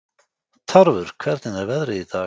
Tarfur, hvernig er veðrið í dag?